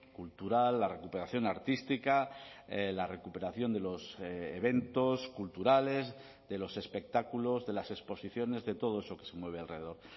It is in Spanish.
cultural la recuperación artística la recuperación de los eventos culturales de los espectáculos de las exposiciones de todo eso que se mueve alrededor